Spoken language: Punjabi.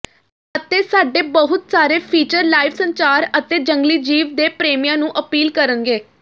ਅਤੇ ਸਾਡੇ ਬਹੁਤ ਸਾਰੇ ਫੀਚਰ ਲਾਈਵ ਸੰਚਾਰ ਅਤੇ ਜੰਗਲੀ ਜੀਵ ਦੇ ਪ੍ਰੇਮੀਆਂ ਨੂੰ ਅਪੀਲ ਕਰਨਗੇ